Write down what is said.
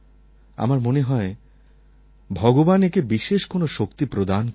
আমার মনে হয় ভগবান একে বিশেষ কোনো শক্তি প্রদান করেছেন